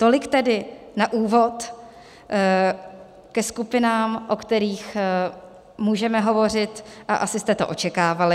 Tolik tedy na úvod ke skupinám, o kterých můžeme hovořit, a asi jste to očekávali.